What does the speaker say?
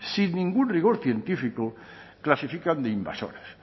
sin ningún rigor científico clasifican de invasoras